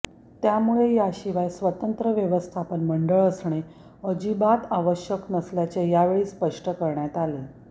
त्यामुळे याशिवाय स्वतंत्र व्यवस्थापन मंडऴ असणे अजिबात आवश्यक नसल्याचे यावेळी स्पष्ट करण्यात आले